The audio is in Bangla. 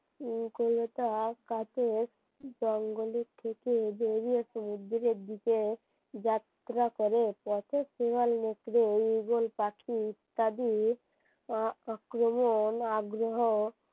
উম কলতার কাছে জঙ্গল থেকে বেরিয়ে সমুদ্রের দিকে যাত্রা করে পথে শিয়াল নেকড়ে ঈগল পাখি ঈত্যাদি আহ আক্রমণ আগ্রহ